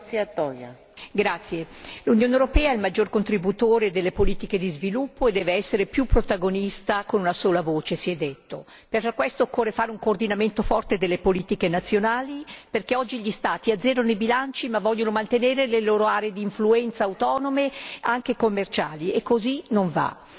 Signora Presidente, onorevoli colleghi, l'Unione europea è il maggior contributore delle politiche di sviluppo e deve essere più protagonista con una sola voce, si è detto. Per questo occorre fare un coordinamento forte delle politiche nazionali perché oggi gli Stati azzerano i bilanci, ma vogliono mantenere le loro aree di influenza autonome anche commerciali e così non va.